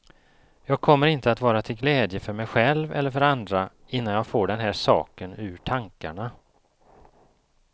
Jag kommer inte att vara till glädje för mig själv eller för andra innan jag får den här saken ur tankarna.